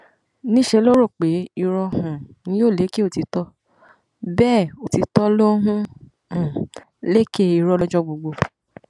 níṣẹ ló rò pé irọ um ni yóò lékè òtítọ bẹẹ òtítọ ló ń um lékè irọ lọjọ gbogbo